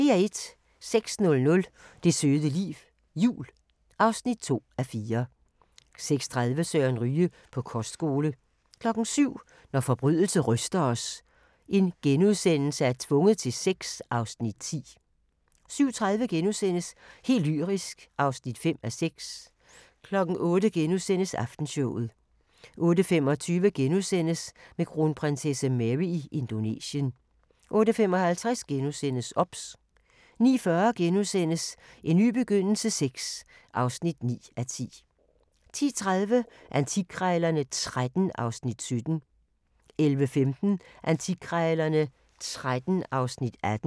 06:00: Det søde liv – jul (2:4) 06:30: Søren Ryge: På kostskole 07:00: Når forbrydelse ryster os – Tvunget til sex (Afs. 10)* 07:30: Helt lyrisk (5:6)* 08:00: Aftenshowet * 08:25: Med kronprinsesse Mary i Indonesien * 08:55: OBS * 09:40: En ny begyndelse VI (9:10)* 10:30: Antikkrejlerne XIII (Afs. 17) 11:15: Antikkrejlerne XIII (Afs. 18)